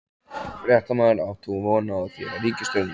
Fréttamaður: Átt þú von á því að ríkisstjórnin haldi?